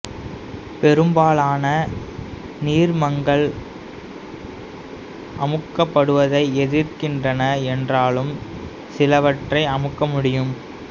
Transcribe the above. பெரும்பாலான நீர்மங்கள் அமுக்கப்படுவதை எதிர்க்கின்றன என்றாலும் சிலவற்றை அமுக்க முடியும்